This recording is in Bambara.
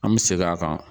An bɛ segin a kan